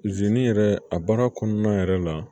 yɛrɛ a baara kɔnɔna yɛrɛ la